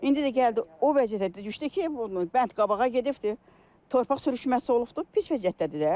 İndi də gəldi o vəziyyətə düşdü ki, bu bənd qabağa gedibdir, torpaq sürüşməsi olubdur, pis vəziyyətdədir də.